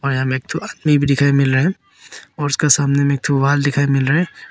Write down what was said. और यहां में एक थु आदमी भी दिखाई मिल रहा है और उसका सामने में एक थू वाल दिखाई मिल रहा है।